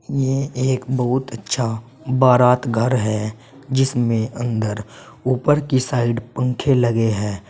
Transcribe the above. ये एक बहुत अच्छा बारात घर है जिसमें अंदर ऊपर की साइड पंखे लगे है।